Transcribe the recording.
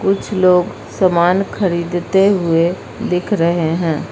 कुछ लोग सामान खरीदते हुए दिख रहे हैं।